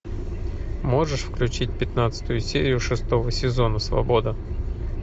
можешь включить пятнадцатую серию шестого сезона свобода